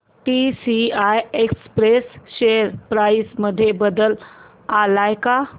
TCI express share price मध्ये बदल आलाय का